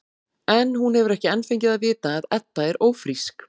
En hún hefur ekki enn fengið að vita að Edda er ófrísk.